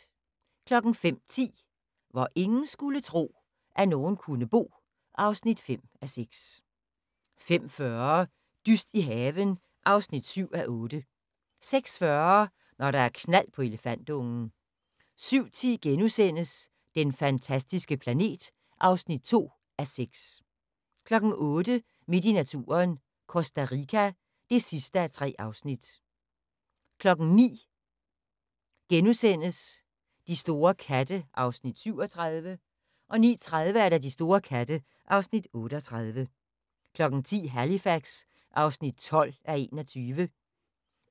05:10: Hvor ingen skulle tro, at nogen kunne bo (5:6) 05:40: Dyst i haven (7:8) 06:40: Når der er knald på elefantungen 07:10: Den fantastiske planet (2:6)* 08:00: Midt i naturen – Costa Rica (3:3) 09:00: De store katte (Afs. 37)* 09:30: De store katte (Afs. 38) 10:00: Halifax (12:21)